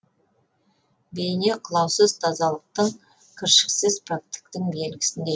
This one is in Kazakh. бейне қылаусыз тазалықтың кіршіксіз пәктіктің белгісіндей